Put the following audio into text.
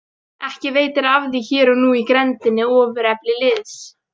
Ekki veitir af því að hér er nú í grenndinni ofurefli liðs.